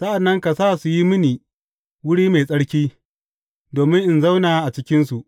Sa’an nan ka sa su yi mini wuri mai tsarki, domin in zauna a cikinsu.